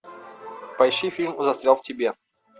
поищи фильм застрял в тебе